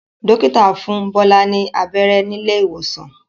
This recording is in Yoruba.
Dókítà fún Bola ní abẹ́rẹ́ ní ilé ìwòsàn.